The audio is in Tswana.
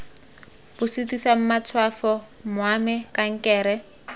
bo sitisang matshwafo mwamd kankere